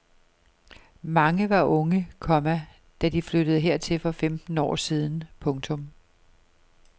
Mange var unge, komma da de flyttede hertil for femten år siden. punktum